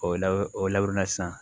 O lab o laban na sisan